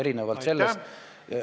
Aitäh!